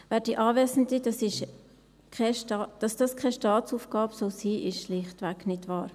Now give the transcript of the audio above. Werte Anwesende, dass das keine Staatsaufgabe sein soll, das ist schlichtweg nicht wahr.